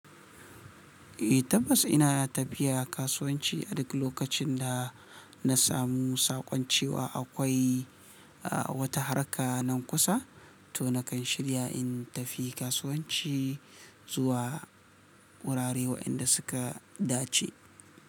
Eh tabbas ina tafiya kasuwanci a duk lokacin da na samu saƙon cewa akwai wata harka nan kusa to nakan shirya in tafi kasuwanci zuwa wurare waɗanda suka dace.